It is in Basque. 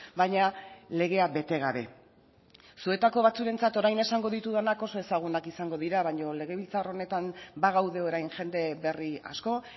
baina legea bete gabe zuetako batzuentzat orain esango ditudanak oso ezagunak izango dira baino legebiltzar honetan bagaude orain jende berri asko